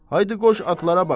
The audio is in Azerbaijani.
Haydı qoş atlara bax!